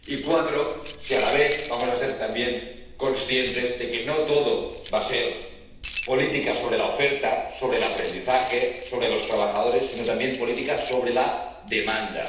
Y cuatro si, a la vez, vamos a ser, también, conscientes de que no todo va a ser política sobre la oferta, sobre el aprendizaje, sobre los trabajadores, sino también política sobre la demanda